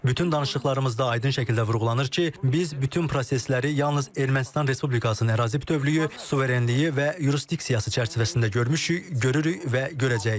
Bütün danışıqlarımızda aydın şəkildə vurğulanır ki, biz bütün prosesləri yalnız Ermənistan Respublikasının ərazi bütövlüyü, suverenliyi və yurisdiksiyası çərçivəsində görmüşük, görürük və görəcəyik.